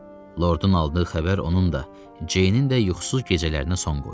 Lordun aldığı xəbər onun da, Ceynin də yuxusuz gecələrinə son qoydu.